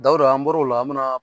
Dawuda an bɔr'o la, an mina